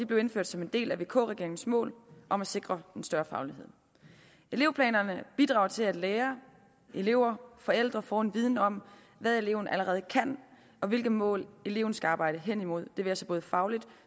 blev indført som en del af vk regeringens mål om at sikre en større faglighed elevplanerne bidrager til at lærere elever og forældre får en viden om hvad eleven allerede kan og hvilke mål eleven skal arbejde hen imod det være sig både fagligt og